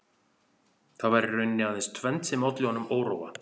Það var í rauninni aðeins tvennt sem olli honum óróa